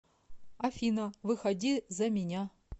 афина выходи за меня